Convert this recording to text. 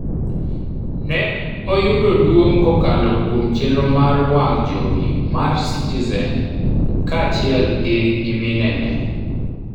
ne oyudo duong' kokalo kuom chenro mar wang' jowi mar citizen kaachiel gi nyiminene